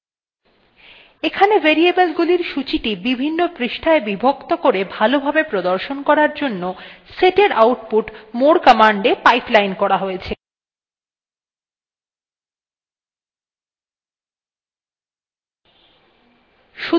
এখানে variable গুলির সূচীটি বিভিন্ন পৃষ্ঠায় বিভক্ত করে ভালো ভাবে প্রদর্শন করার জন্য setএর output moreকমান্ডa pipeline করা হয়েছে